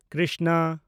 Krishna